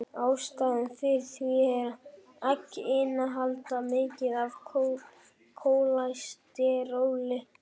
Ástæðan fyrir því er að egg innihalda mikið af kólesteróli.